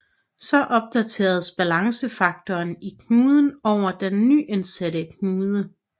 Så opdateres balancefaktoren i knuden over den nyindsatte knude